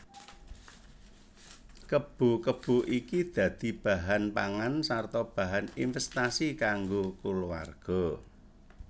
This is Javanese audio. Kebo kebo iki dadi bahan pangan sarta bahan invèstasi kanggo kulawarga